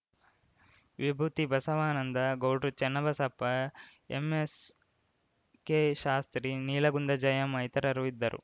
ವಿಭೂತಿ ಬಸವಾನಂದ ಗೌಡ್ರು ಚನ್ನಬಸಪ್ಪ ಎಂಎಸ್‌ಕೆಶಾಸ್ತ್ರಿ ನೀಲಗುಂದ ಜಯಮ್ಮ ಇತರರು ಇದ್ದರು